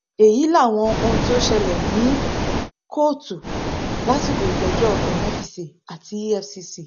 èyí làwọn ohun tó ṣẹlẹ ní kóòtù lásìkò ìgbẹjọ emefíse àti efcc